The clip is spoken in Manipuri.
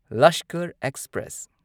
ꯂꯁꯀꯔ ꯑꯦꯛꯁꯄ꯭ꯔꯦꯁ